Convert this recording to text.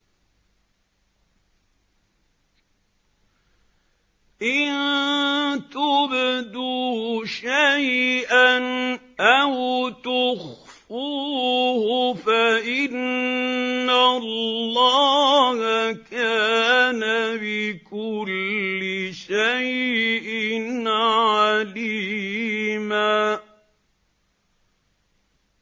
إِن تُبْدُوا شَيْئًا أَوْ تُخْفُوهُ فَإِنَّ اللَّهَ كَانَ بِكُلِّ شَيْءٍ عَلِيمًا